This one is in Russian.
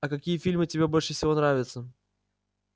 а какие фильмы тебе больше всего нравятся